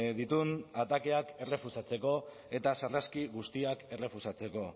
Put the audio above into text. dituen atakeak errefusatzeko eta sarraski guztiak errefusatzeko